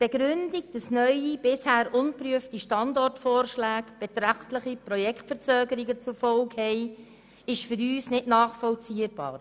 Die Begründung, wonach neue bisher ungeprüfte Standortvorschläge beträchtliche Projektverzögerungen zur Folge haben, ist für uns nicht nachvollziehbar.